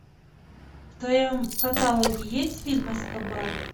в твоем каталоге есть фильм эскобар